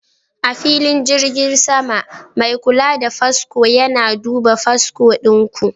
A filin jirgin sama, mai kula da fasfo yana duba fasfo ɗin ku.